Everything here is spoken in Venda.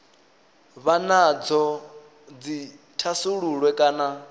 vha nadzo dzi thasululwe kana